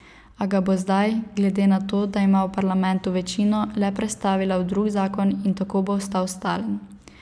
A ga bo zdaj, glede na to, da ima v parlamentu večino, le prestavila v drug zakon in tako bo ostal stalen.